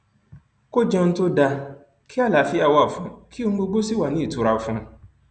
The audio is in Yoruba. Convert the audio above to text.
kò jẹun tó dáa kí àlàáfíà wà fún un kí ohun gbogbo sì wà ní ìtura fún un